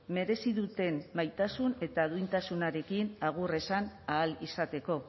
merezi duten maitasun eta duintasunarekin agur esan ahal izateko